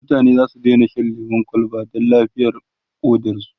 mutane zasu Daina Shan lemun kwalba Dan lafiyar ƙodarsu